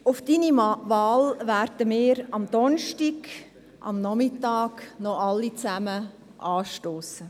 Auf Ihre Wahl werden wir am Donnerstagnachmittag alle anstossen.